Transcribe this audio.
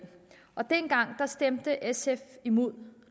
dengang stemte sf imod